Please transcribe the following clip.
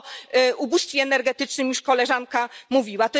O ubóstwie energetycznym już koleżanka mówiła.